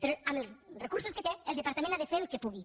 però amb els recursos que té el departament ha de fer el que pugui